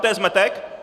To je zmetek?